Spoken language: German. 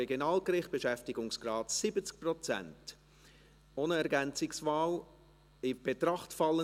Wir werden versuchen, mit den Geschäften möglichst zügig durchzukommen, aber ihnen dennoch gerecht zu werden.